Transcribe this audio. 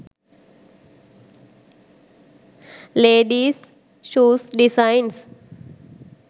ladies shoes designs